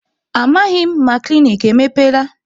Amaghị m ma klinik emepeela.